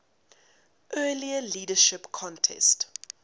earlier leadership contest